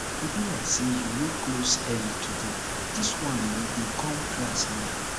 e be like say you no close early today dis wan you dey come class now